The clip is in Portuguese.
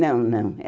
Não, não.